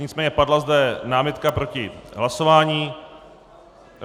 Nicméně padla zde námitka proti hlasování.